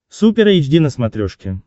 супер эйч ди на смотрешке